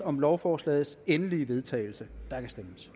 om lovforslagets endelige vedtagelse